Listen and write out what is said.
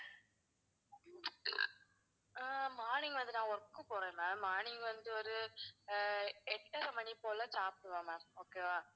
ஆஹ் morning வந்து நான் work க்கு போவேன் ma'am morning வந்து ஒரு எட்டரை மணி போல சாப்பிடுவேன் ma'am okay வா.